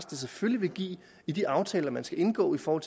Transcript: det selvfølgelig vil give i de aftaler man skal indgå for